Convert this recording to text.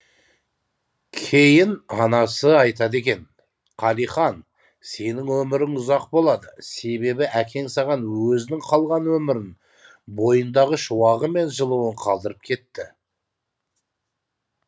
кейін анасы айтады екен қалихан сенің өмірің ұзақ болады себебі әкең саған өзінің қалған өмірін бойындағы шуағы мен жылуын қалдырып кетті